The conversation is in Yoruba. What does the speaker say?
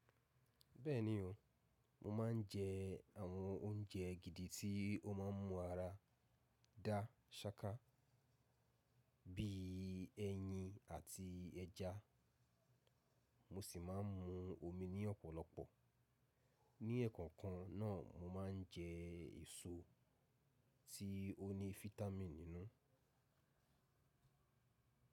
Bẹ́ẹ̀ni o, mo máa ń jẹ àwọn oúnjẹ gidi tí o máa ń mu ara dá ṣáká, bí i ẹyin àti ẹja. Mo sì máa ń mu omi ní ọ̀pọ̀lọpọ̀. Ní ẹ̀ẹ̀kan kan náà, mo máa ń jẹ èso tí o ni fitamì nínú.